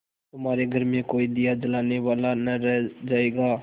तुम्हारे घर में कोई दिया जलाने वाला न रह जायगा